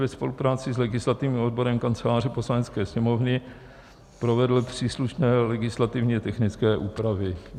ve spolupráci s legislativním odborem Kanceláře Poslanecké sněmovny provedl příslušné legislativně technické úpravy.